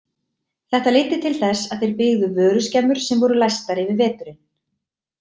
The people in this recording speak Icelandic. Þetta leiddi til þess að þeir byggðu vöruskemmur sem voru læstar yfir veturinn.